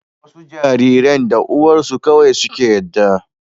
wasu jariran da uwarsu kawai suke yadda